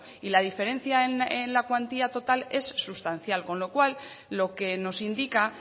y la diferencia en la cuantía total es sustancial con lo cual lo que nos indica